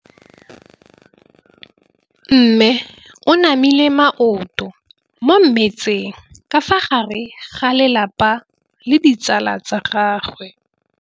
Mme o namile maoto mo mmetseng ka fa gare ga lelapa le ditsala tsa gagwe.